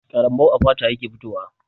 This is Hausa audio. Ƙarambau a fata yake fitowa.